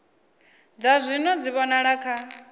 dza zwino dzi vhonala kha